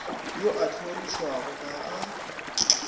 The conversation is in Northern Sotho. yo a hlorišwago ga a